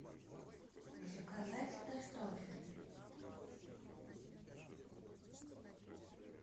заказать картофель